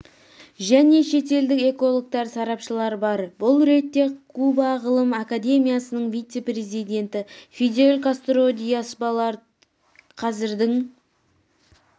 және шетелдік экологтар сарапшылар бар бұл ретте куба ғылым академиясының вице-президенті фидель кастро диас-баларт қазірдің